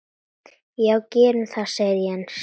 Já gerum það sagði Jens.